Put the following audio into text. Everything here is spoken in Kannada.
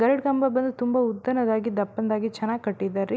ಗರಡ್ ಕಂಬ ಬಂದ್ ತುಂಬಾ ಉದ್ದನೇದಾಗಿ ದಪ್ಪನೇದಾಗಿ ಚೆನ್ನಾಗ್ ಕಟ್ಟಿದರ್ ರೀ.